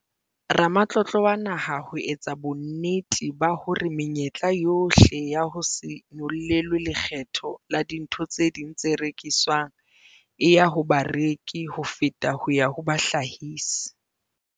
Ramatlotlo wa Naha ho etsa bonnete ba hore menyetla yohle ya ho se nyollelwe lekgetho la dintho tse ding tse rekiswang e ya ho bareki ho feta ho ya ho bahlahisi.